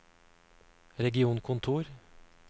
regionkontor